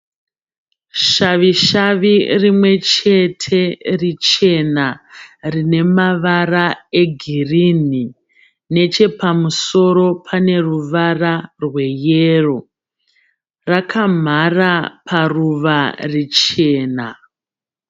Shavishavi rimwe chete richena rine mavara egirinhi. Nechepamusoro pane ruvara rweyero. Rakamhara paruva richena.